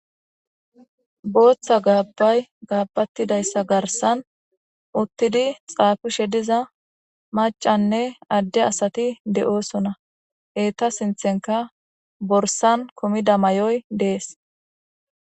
Bootha gabagay gabeyidatsa garsan utidi xaafishe diza Macanne Ade asati de'osona, eta sinthanka borsani kumida mayoyi Desi.